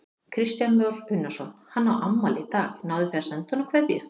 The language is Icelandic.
Kristján Már Unnarsson: Hann á afmæli í dag, náðuð þið að senda honum kveðju?